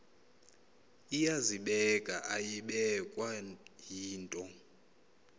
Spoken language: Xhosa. iyazibeka ayibekwa yinto